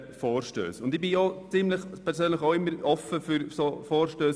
Persönlich bin ich immer offen für solche Vorstösse.